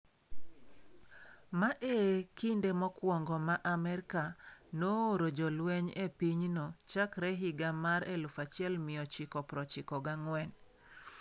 Ma e kinde mokwongo ma Amerka nooro jolweny e pinyno chakre higa mar 1994.